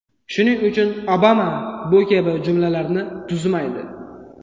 Shuning uchun Obama bu kabi jumlalarni tuzmaydi.